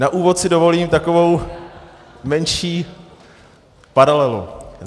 Na úvod si dovolím takovou menší paralelu.